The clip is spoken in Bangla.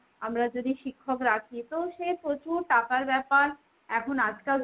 আমরা যদি শিক্ষক রাখি তো সে প্রচুর টাকার ব্যাপার। এখন আজকাল তো,